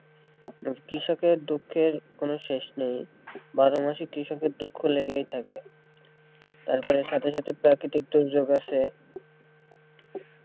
কৃষকের দুঃখের কোনো শেষ নেই বারো মাসই কৃষকের দুঃখ লেগেই থাকে তারপরে সাথে সাথে প্রাকৃতিক দুর্যোগ আছে।